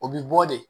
O bi bɔ de